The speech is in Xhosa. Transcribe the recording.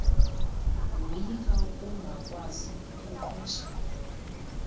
woyika ukungakwazi kuqhwesha